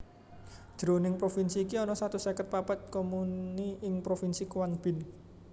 Jroning provinsi iki ana satus seket papat Comuni ing Provinsi Quang Binh